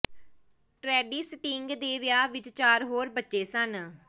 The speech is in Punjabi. ਟ੍ਰੈਡੀ ਸਟਿੰਗ ਦੇ ਵਿਆਹ ਵਿੱਚ ਚਾਰ ਹੋਰ ਬੱਚੇ ਸਨ